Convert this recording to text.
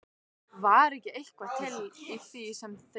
Var ekki eitthvað til í því sem þeir sögðu?